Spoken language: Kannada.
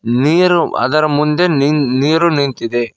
ನೀರು ಅದರ ಮುಂದೆ ನೀ ನೀರು ನಿಂತಿದೆ.